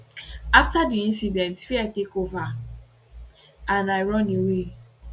afta di incident fear take over and i run away